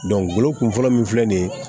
kun fɔlɔ min filɛ nin ye